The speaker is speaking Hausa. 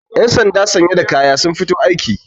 yansanda sanye da kaya sun fito aiki